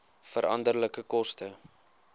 veranderlike koste